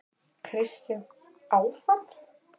Kristján: Áfall?